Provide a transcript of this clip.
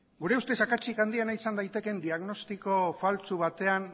gure ustez akatsik handiena izan daitekeen diagnostiko faltsu batean